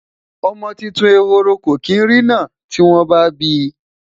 ọmọ tuntun ehoro kò kin rinna tiwon ba bi